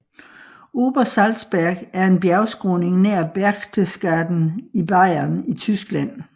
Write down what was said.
Obersalzberg er en bjergskråning nær Berchtesgaden i Bayern i Tyskland